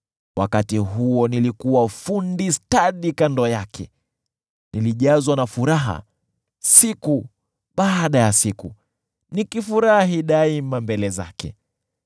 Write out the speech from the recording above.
Wakati huo nilikuwa fundi stadi kando yake. Nilijazwa na furaha siku baada ya siku, nikifurahi daima mbele zake,